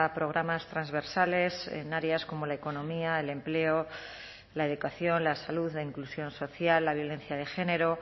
programas transversales en áreas como la economía el empleo la educación la salud la inclusión social la violencia de género